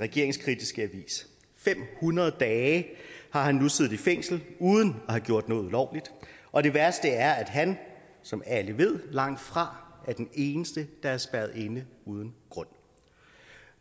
regeringskritiske avis fem hundrede dage har han nu siddet i fængsel uden at have gjort noget ulovligt og det værste er at han som alle ved langt fra er den eneste der er spærret inde uden grund